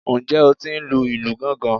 Ǹjẹ́ o tí ń lu ìlù gángan?